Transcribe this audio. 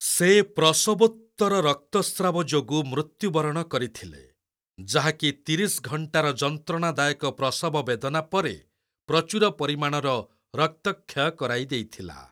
ସେ ପ୍ରସବୋତ୍ତର ରକ୍ତସ୍ରାବ ଯୋଗୁ ମୃତ୍ୟୁବରଣ କରିଥିଲେ, ଯାହାକି ତିରିଶ ଘଣ୍ଟାର ଯନ୍ତ୍ରଣାଦାୟକ ପ୍ରସବ ବେଦନା ପରେ ପ୍ରଚୁର ପରିମାଣର ରକ୍ତକ୍ଷୟ କରାଇଦେଇଥିଲା।